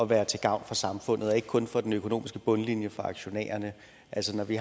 være til gavn for samfundet og ikke kun for den økonomiske bundlinje for aktionærerne altså når vi